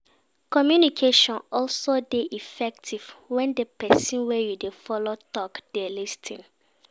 Communication also de effective when di persin wey you de follow talk de lis ten